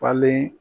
Falen